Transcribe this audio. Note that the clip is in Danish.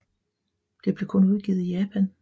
Det blev kun udgivet i Japan